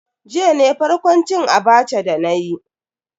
Jiya ne farkon cin Abacha dana yi.